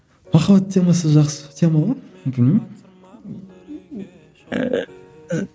махаббат темасы жақсы тема ғой білмеймін ііі